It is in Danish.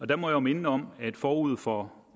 der må jeg minde om at forud for